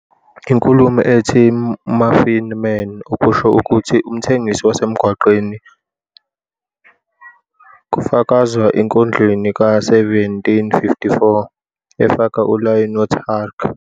Inkulumo ethi "muffin-man", okusho ukuthi umthengisi wasemgwaqeni wasemgwaqeni, kufakazwa enkondlweni ka-1754, efaka ulayini othi- "Hark!